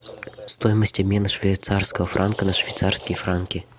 стоимость обмена швейцарского франка на швейцарские франки